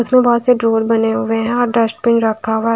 इसमें बहोत से ड्रॉवर बने हुए हैं और डस्टबिन रखा हुआ--